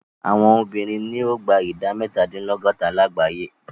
Àwọn obìnrin ni o gba ìdá mẹ́tàdínlọ́gọ́ta lágbàyé.